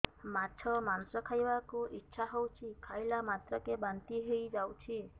ମାଛ ମାଂସ ଖାଇ ବାକୁ ଇଚ୍ଛା ହଉଛି ଖାଇଲା ମାତ୍ରକେ ବାନ୍ତି ହେଇଯାଉଛି